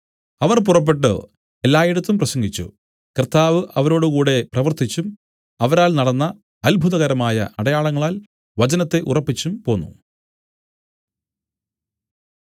അവർ പുറപ്പെട്ടു എല്ലായിടത്തും പ്രസംഗിച്ചു കർത്താവ് അവരോടുകൂടെ പ്രവർത്തിച്ചും അവരാൽ നടന്ന അത്ഭുതകരമായ അടയാളങ്ങളാൽ വചനത്തെ ഉറപ്പിച്ചും പോന്നു